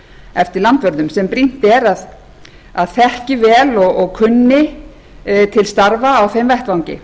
eftir landvörðum en brýnt er að þeir þekki vel og kunni til starfa á þeim vettvangi